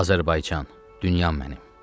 Azərbaycan dünya mənim.